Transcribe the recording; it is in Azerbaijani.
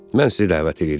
Mən sizi dəvət eləyirəm.